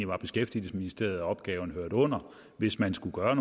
var beskæftigelsesministeriet som opgaven hørte under hvis man skulle gøre